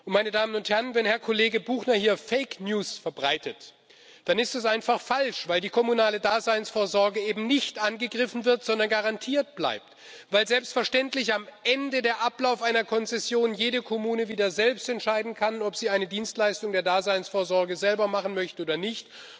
Wenn Herr Kollege Buchner hier Fake News verbreitet, dann ist das einfach falsch, weil die kommunale Daseinsvorsorge eben nicht angegriffen wird, sondern garantiert bleibt, weil selbstverständlich nach Ablauf einer Konzession jede Kommune wieder selbst entscheiden kann, ob sie eine Dienstleistung der Daseinsvorsorge selber machen möchte oder nicht.